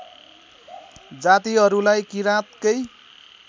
जातिहरूलाई किराँतकै